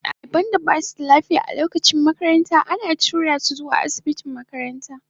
Daliban da ba su da lafiya a lokacin makaranta ana tura su zuwa asibitin makaranta.